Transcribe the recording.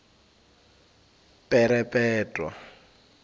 perepetwa